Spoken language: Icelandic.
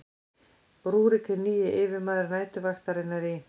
rúrík hinn nýji yfirmaður næturvaktarinnar í